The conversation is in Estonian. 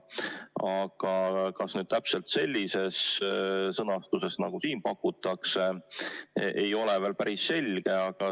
Aga kas muuta seadust täpselt sellises sõnastuses, nagu siin pakutakse, ei ole veel päris selge.